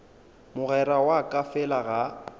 mogwera wa ka fela ga